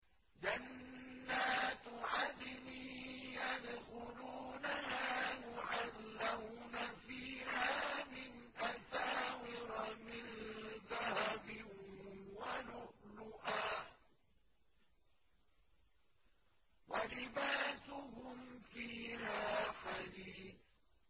جَنَّاتُ عَدْنٍ يَدْخُلُونَهَا يُحَلَّوْنَ فِيهَا مِنْ أَسَاوِرَ مِن ذَهَبٍ وَلُؤْلُؤًا ۖ وَلِبَاسُهُمْ فِيهَا حَرِيرٌ